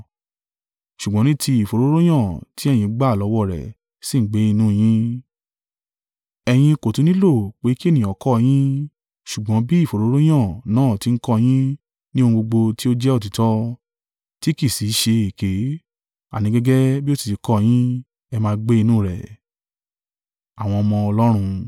Ṣùgbọ́n ní ti ìfòróróyàn tí ẹ̀yín gba lọ́wọ́ rẹ̀ ṣì ń gbé inú yín, ẹ̀yin kò tún nílò pé kí ẹnìkan kọ yín. Ṣùgbọ́n bí ìfòróróyàn náà ti ń kọ́ yín ní ohun gbogbo tí ó jẹ́ òtítọ́, tí kì í sì í ṣe èké, àní gẹ́gẹ́ bí ó sì ti kọ́ yín, ẹ máa gbé inú rẹ̀.